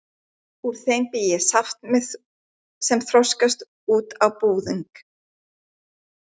Úr þeim bý ég saft sem þroskast út á búðing.